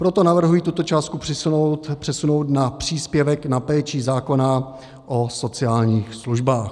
Proto navrhuji tuto částku přesunout na příspěvek na péči zákona o sociálních službách.